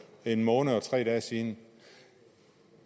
en måned og tre dage siden